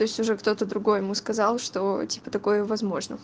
то есть уже кто-то другой ему сказал что типа такое возможно